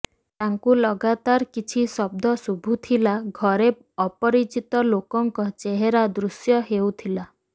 ତାଙ୍କୁ ଲଗାତାର କିଛି ଶବ୍ଦ ଶୁଭୁଥିଲା ଘରେ ଅପରିଚିତ ଲୋକଙ୍କ ଚେହେରା ଦୃଶ୍ୟ ହେଉଥିଲା